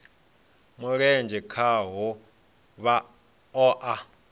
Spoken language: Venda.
mulenzhe khaho vha o a